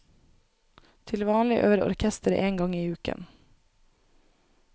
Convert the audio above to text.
Til vanlig øver orkesteret én gang i uken.